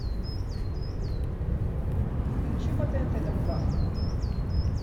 включи по тнт дом два